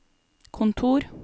kontor